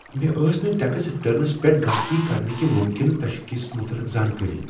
مےٚ ٲس نہٕ ٹیکس ریٹرنس پؠٹھ غلطی کرنہٕ کہ ممکنہٕ تشخیصس متعلق زانکٲری۔